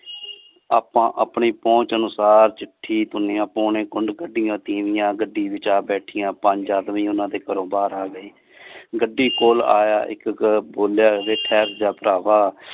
ਆਪਾਂ ਆਪਣੀ ਪਹੁੰਚ ਅਨੁਸਾਰ ਚਿਠੀ ਕੱਢਿਆ ਤੀਮੀਆਂ ਗੱਡੀ ਵਿਚ ਆ ਬੈਠੀਆਂ ਪੰਜ ਆਦਮੀ ਓਹਨਾ ਦੇ ਘਰੋਂ ਬਾਰ ਆ ਗਏ ਗੱਡੀ ਕੋਲ ਆਯਾ ਇਕ ਬੋਲਿਆ ਵੇ ਠਹਿਰ ਜਾ ਭਰਾਵਾਂ।